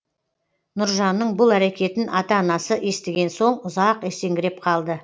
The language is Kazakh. нұржанның бұл әрекетін ата анасы естіген соң ұзақ есеңгіреп қалды